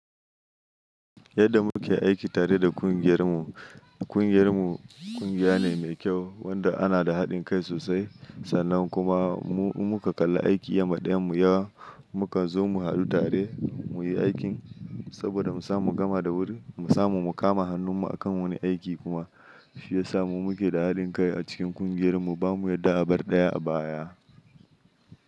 Yadda muke aiki tare da ƙungiyar mu. Ƙungiyar mu ƙungiya ne mai kyau wanda ana da haɗin kai sosai sannan kuma mu muka kalla aiki yama ɗayan mu yawa muka zo mu hadu tare muyi aikin saboda mu samu mu gama da wuri mu samu mu kama hannun mu akan wani aiki kuma shi ya samu muke da haɗin kai a cikin ƙungiyar mu bamu yadda abar ɗaya a baya.